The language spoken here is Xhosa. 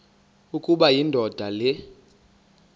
ukuba indoda le